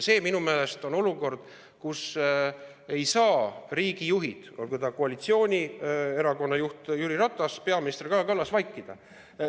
See on minu meelest olukord, kus riigijuhid, olgu ta koalitsioonierakonna juht Jüri Ratas või peaminister Kaja Kallas, ei saa vaikida.